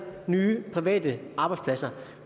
nye private arbejdspladser